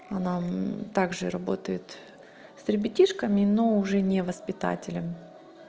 она также работает с ребятишками но уже не воспитателям